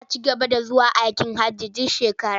Za a ci gaba da zuwa hajji duk shekara.